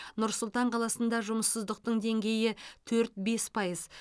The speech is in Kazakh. нұр сұлтан қаласында жұмыссыздықтың деңгейі төрт бес пайыз